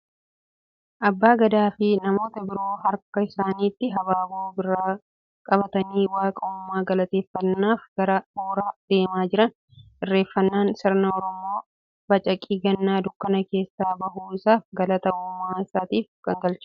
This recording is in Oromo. Abbaa gadaa fi namoota biroo harka isaaniitti habaaboo birraa qabatanii waaqa uumaa galateeffannaaf gara horaa deemaa jiran. Irreeffannaan sirna Oromoon bacaqii ganna dukkana keessaa bahuu isaaf galata uumaa isaaf itti galchudha.